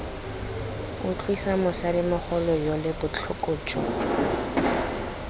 utlwisa mosadimogolo yole botlhoko jo